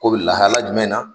Ko bi lahala jumɛn na?